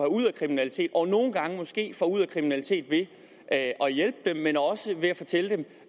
ud af kriminalitet og nogle gange måske få ud af kriminalitet ved at at hjælpe dem men også ved at fortælle dem